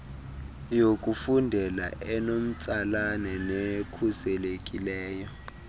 yokufundela enomtsalane nekhuselekileyo